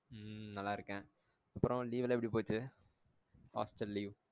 உம் நல்ல இருக்கேன் அப்ரோ leave எல்லாம் எப்டி போச்சு hostel leave